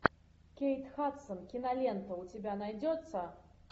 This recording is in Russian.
кейт хадсон кинолента у тебя найдется